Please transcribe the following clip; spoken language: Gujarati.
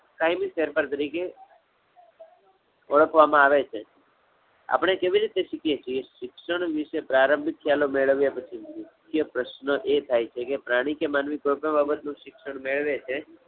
કાયમી ફેરફાર તરીકે, ઓળખવા માં આવે છે. આપણે કેવી રીતે શીખીએ છીએ? શિક્ષણ વિષે પ્રારંભથી મેળવ્યા પછી, કે પ્રશ્ન એ થાય છે કે, પ્રાણી કે માનવી કોઈપણ બાબત નું શિક્ષણ મેળવે છે.